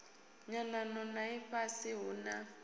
nyanano na ifhasi hu na